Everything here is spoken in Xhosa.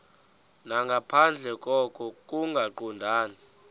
nangaphandle koko kungaqondani